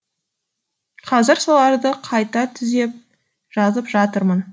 қазір соларды қайта түзеп жазып жатырмын